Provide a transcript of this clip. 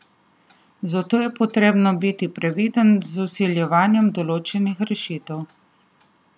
Zato je potrebno biti previden z vsiljevanjem določenih rešitev.